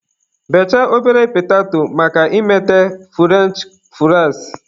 Bechaa ọbere petato maka ime furench fụraịs.